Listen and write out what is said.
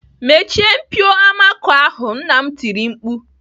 "Mechie mpio amako ahụ!" Nna m tiri mkpu